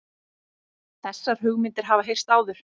Þessar hugmyndir hafa heyrst áður